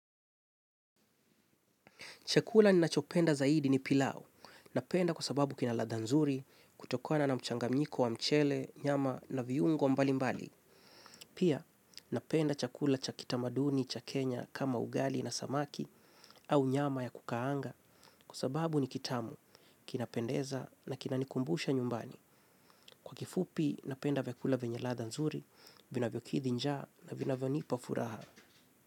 Chakula ninachopenda zaidi ni pilau. Napenda kwa sababu kina ladha nzuri, kutokona na mchanganyiko wa mchele, nyama na viungo mbali mbali. Pia, napenda chakula cha kitamaduni, cha kenya, kama ugali na samaki au nyama ya kukaanga kwa sababu ni kitamu, kinapendeza na kinanikumbusha nyumbani. Kwa kifupi, napenda vyakula vyenye ladha nzuri, vinavyokidhi njaa na vinavyonipa furaha.